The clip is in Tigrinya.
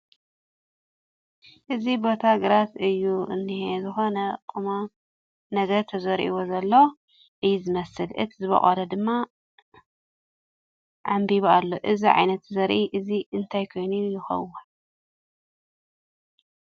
እዚ ቦታ ግራት እዩ እንኤ ዝኾነ ቕመም ነገር ተዘሪኡዎ ዘሎ እዩ ዝመስል ፡ እቲ ዝቦቆለ ድማ ዐምቢቡ ኣሎ እዚ ዓይነት ዘርኢ እዙይ እንታይ ኮን ይኸውን